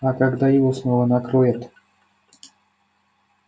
а когда его снова накроет